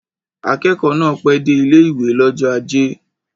Akẹ́kọ̀ọ́ náà pẹ́ dé ilé-ìwé l'ọ́jọ́ ajé